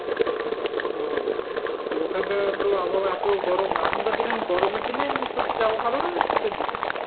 ও তো ওখানকার তো আবহাওয়া এত গরম এখনকার দিনে গরমের দিনে সবচেয়ে যাওয়া ভালো না শীতের দিনে?